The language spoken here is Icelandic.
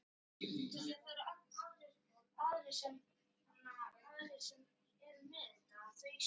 Óvæntur, rómantískur morgunverður í rúmið mun bræða hjarta hennar fyrir fullt og allt.